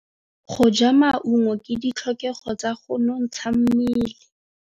Go ja maungo ke ditlhokegô tsa go nontsha mmele.